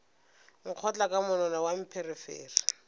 nkgotla ka monwana wa pherefere